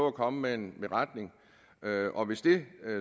at komme med en beretning og hvis det